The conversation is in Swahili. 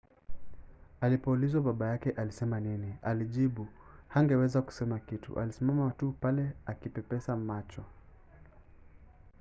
alipoulizwa baba yake alisema nini alijibu hangeweza kusema kitu- alisimama tu pale akipepesa macho.